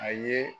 A ye